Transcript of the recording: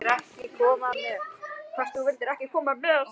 Hvort þau vildu ekki koma með?